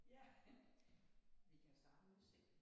Ja vi kan starte med udsigten